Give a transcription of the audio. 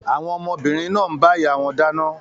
Àwọn ọmọbìnrin náà ń bá ìyá wọn dáná.